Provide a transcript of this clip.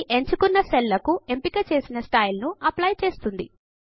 ఇది ఎంచుకొన్న సెల్ల్స్ కు ఎంపిక చేసిన స్టైల్ ను అప్లై చేస్తుంది